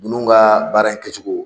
Nunnu ka baara in kɛ cogo